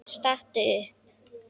Stattu upp!